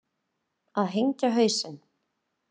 Að hengja hausinn